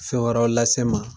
Fɛn wɛrɛw lase n ma.